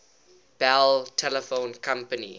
bell telephone company